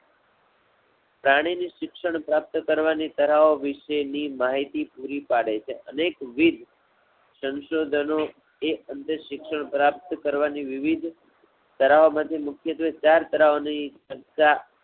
પ્રાણી ની શિક્ષણ પ્રાપ્ત કરવાની ઠરાવો વિષે ની માહિતી પૂરી પાડે છે. અનેકવિદ સંશોધનો એ અમને શિક્ષણ પ્રાપ્ત કરવાની વિવિધ ઠરાવો માથી મુખ્યત્વે ચાર ઠરાવો ની ચર્ચા